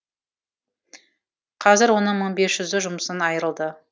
қазір оның мың бес жүзі жұмысын айырылды